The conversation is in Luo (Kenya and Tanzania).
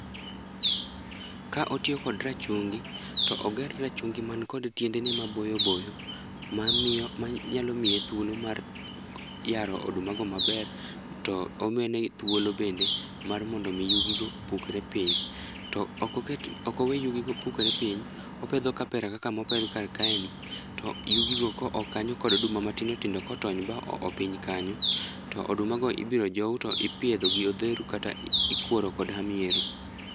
Ka otiyo kod rachungi to oger rachungi man kod tiendene maboyo boyo, mamiyo, manyalo miye thuolo mar yaro oduma go maber to omede thuolo bende mar miyo yugi go opukre piny. To ok oket, okowe yugigo pukre piny, opedho kapera kaka mopedh kar kae ni to yugi go koo kanyo kod oduma matindo tindo kotony ma oo piny kanyo to oduma go ibiro jow to ipidho gi odheru kata ikuoro koda miero